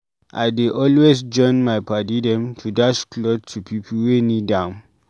I dey always join my paddy dem to dash clot to pipu wey need am.